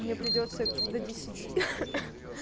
мне придётся до десяти